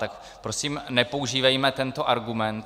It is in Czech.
Tak prosím nepoužívejme tento argument.